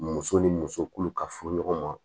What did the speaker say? Muso ni muso kulu ka furu ɲɔgɔn ma